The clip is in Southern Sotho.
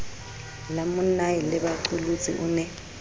la monnae lebaqolotsi o ne